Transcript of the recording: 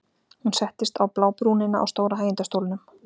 Hún settist á blábrúnina á stóra hægindastólnum.